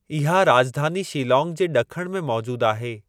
इहा राॼधानी शिलांग जे ॾखण में मौजूदु आहे।